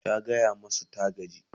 ta gaya masu ta gaji